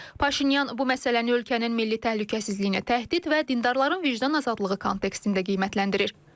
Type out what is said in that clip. Paşinyan bu məsələni ölkənin milli təhlükəsizliyinə təhdid və dindarların vicdan azadlığı kontekstində qiymətləndirir.